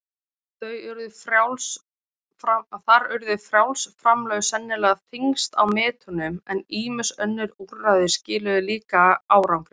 Þar urðu frjáls framlög sennilega þyngst á metunum, en ýmis önnur úrræði skiluðu líka árangri.